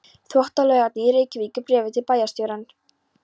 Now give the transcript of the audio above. Þvottalaugarnar í Reykjavík í bréfi til bæjarstjórnar.